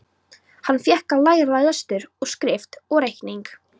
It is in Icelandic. Hann fékk að læra lestur og skrift og reikning.